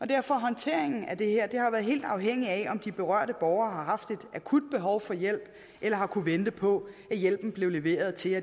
derfor har håndteringen af det her været helt afhængig af om de berørte borgere har haft et akut behov for hjælp eller har kunnet vente på at hjælpen blev leveret til